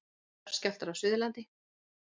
Jarðskjálftar á Suðurlandi.